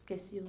Esqueci o